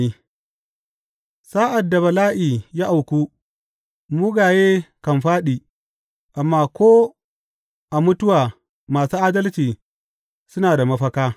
Sa’ad bala’i ya auku, mugaye kan fāɗi, amma ko a mutuwa masu adalci suna da mafaka.